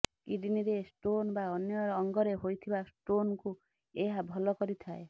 କିଡ୍ନୀରେ stone ବା ଅନ୍ୟ ଅଙ୍ଗରେ ହୋଇଥିବା ଷ୍ଟୋନ୍କୁ ଏହା ଭଲ କରିଥାଏ